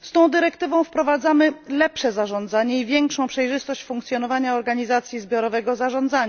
Z tą dyrektywą wprowadzamy lepsze zarządzanie i większą przejrzystość funkcjonowania organizacji zbiorowego zarządzania,